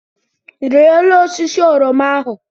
Rịa elu osisi oroma ahụ!